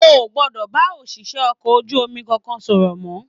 O o gbọdọ bá oṣiṣẹ okọ̀ ojú omi kankan sọ̀rọ̀ mọ!